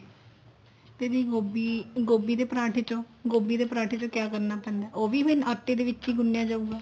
ਤੇ ਜੀ ਗੋਭੀ ਗੋਭੀ ਦੇ ਪਰਾਂਠੇ ਚੋ ਗੋਭੀ ਦੇ ਪਰਾਂਠੇ ਚੋ ਕਿਆ ਕਰਨਾ ਪੈਂਦਾ ਉਹ ਵੀ ਮੈਂ ਆਟੇ ਦੇ ਵਿੱਚ ਵੀ ਗੁੰਨੀਆ ਜਾਉਗਾ